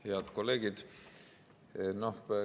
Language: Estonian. Head kolleegid!